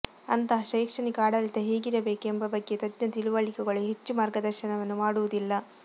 ಅಂತಹ ಶೈಕ್ಷಣಿಕ ಆಡಳಿತ ಹೇಗಿರಬೇಕು ಎಂಬ ಬಗ್ಗೆ ತಜ್ಞ ತಿಳುವಳಿಕೆಗಳು ಹೆಚ್ಚು ಮಾರ್ಗದರ್ಶನವನ್ನು ಮಾಡುವುದಿಲ್ಲ